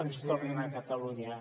ens tornin a catalunya